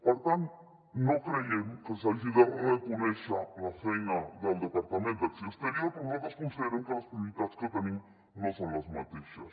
per tant no creiem que s’hagi de reconèixer la feina del departament d’acció exterior que nosaltres considerem que les prioritats que tenim no són les mateixes